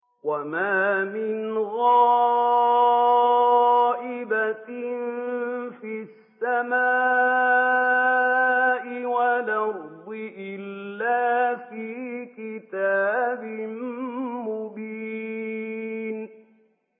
وَمَا مِنْ غَائِبَةٍ فِي السَّمَاءِ وَالْأَرْضِ إِلَّا فِي كِتَابٍ مُّبِينٍ